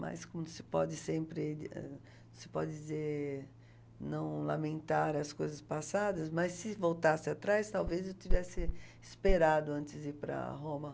Mas, como se pode sempre, ãh, se pode dizer, não lamentar as coisas passadas, mas, se voltasse atrás, talvez eu tivesse esperado antes de ir para Roma.